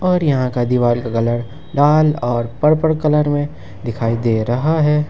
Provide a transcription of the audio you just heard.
और यहां का दीवाल का कलर लाल और पर्पल कलर में दिखाई दे रहा है।